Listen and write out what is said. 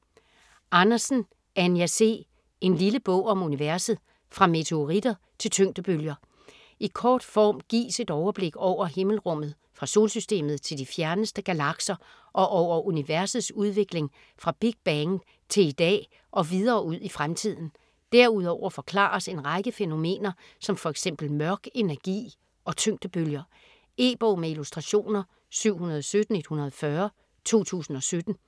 Andersen, Anja C.: En lille bog om universet: fra meteoritter til tyngdebølger I kort form gives et overblik over himmelrummet fra Solsystemet til de fjerneste galakser og over universets udvikling fra Big Bang til i dag og videre ud i fremtiden. Derudover forklares en række fænomener som f.eks. mørk energi og tyngdebølger. E-bog med illustrationer 717140 2017.